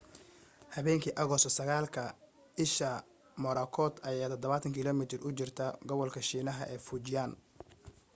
habeenkii agosto 9ka isha morakot ayaa 70 kilomiitar u jirtay gobolka shiinaha ee fujian